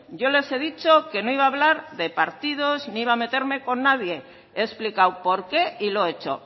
yo les he dicho que no iba a hablar de partidos ni iba meterme con nadie he explicado porque y lo he hecho